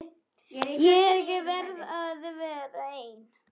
Ég verð að vera ein.